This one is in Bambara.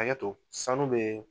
Hakɛ to sanu bɛ